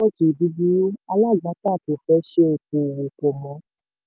torí nẹ́tíwọ́ọ̀kì búburú alágbàtà kò fẹ́ ṣe okoòwò pọ̀ mọ́.